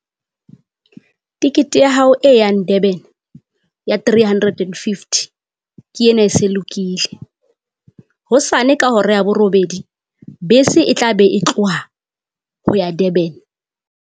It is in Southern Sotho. Tikete ya hao e yang Durban ya three hundred and fifty. Ke ena e se lokile hosane ka hora ya borobedi bese e tla be e tloha ho ya Durban.